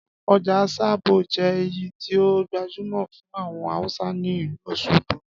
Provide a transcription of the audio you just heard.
Ọjà sábó je ẹ̀yí ti o gbajúmọ̀ fun àwon Hausa ni ìlú Òsogbo